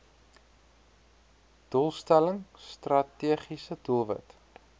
doelstelling strategiese doelwit